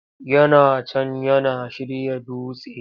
Yana can yana shirya dutse!